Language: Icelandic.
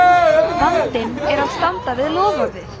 vandinn er að standa við loforðið!